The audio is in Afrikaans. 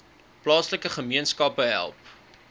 plaaslike gemeenskappe help